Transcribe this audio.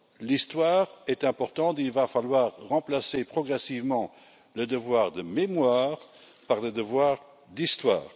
L'Histoire est importante, il va falloir remplacer progressivement le devoir de mémoire par le devoir d'Histoire.